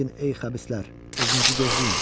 Lakin ey xəbislər, özünüzü gözləyin.